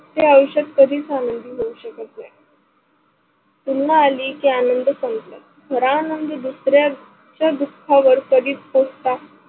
हे आयुष्यात आनंदी होऊ शकत नाही. पुन्हा आली कि आनंद संपल, खरा आनंद दुसऱ्यात दुखावर कधी कोस्ता?